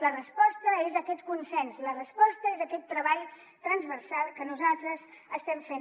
la resposta és aquest consens la resposta és aquest treball transversal que nosaltres estem fent